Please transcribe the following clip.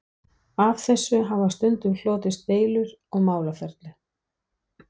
Af þessu hafa stundum hlotist deilur og málaferli.